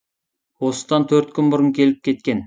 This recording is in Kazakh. осыдан төрт күн бұрын келіп кеткен